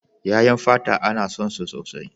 Ƴaƴan fata ana son su sosai.